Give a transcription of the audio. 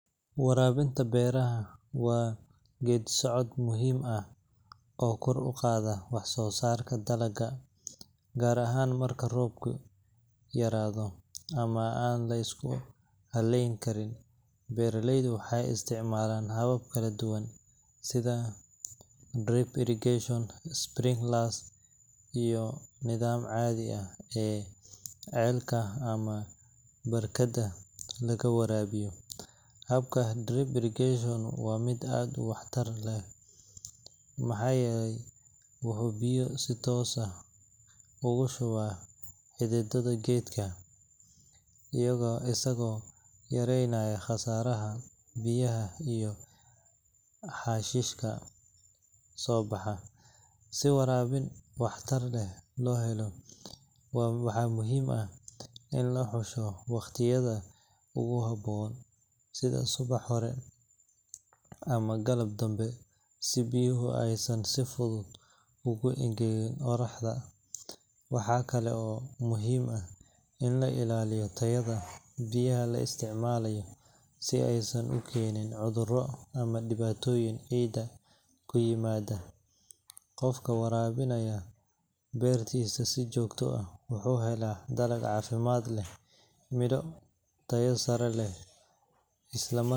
waraabinta beeraha waa geeddi-socod muhiim ah oo kor u qaada waxsoosaarka dalagga, gaar ahaan marka roobku yaraado ama aan la isku halleyn karin. Beeraleydu waxay isticmaalaan habab kala duwan sida drip irrigation, sprinklers, iyo nidaamka caadiga ah ee ceelka ama barkadda laga waraabiyo. Habka drip irrigation waa mid aad u waxtar leh maxaa yeelay wuxuu biyo si toos ah ugu shubaa xididada geedka, isagoo yareynaya khasaaraha biyaha iyo xashiishka soo baxa. Si waraabin waxtar leh loo helo, waxaa muhiim ah in la xusho waqtiyada ugu habboon sida subax hore ama galab dambe, si biyuhu aysan si fudud ugu engegin qoraxda. Waxaa kale oo muhiim ah in la ilaaliyo tayada biyaha la isticmaalayo si aysan u keenin cudurro ama dhibaatooyin ciidda ku yimaada. Qofka waraabinaya beertiisa si joogto ah wuxuu helayaa dalag caafimaad leh, midho tayo sare leh leh,